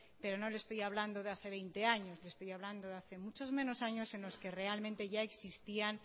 pero no le estoy hablando de hace veinte años le estoy hablando de hace muchos menos años en los que realmente ya existían